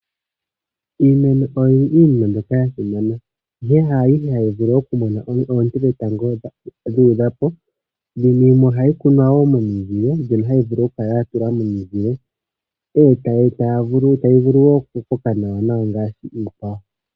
Iimeno oyo iinima mbyoka yasimana ihe kayishi ayihe hayi vulu okumona oonte dhetango dhuudhapo. Yimwe ohayi kunwa momizile opo yivule okukoka nawa ngaashi iikwawo.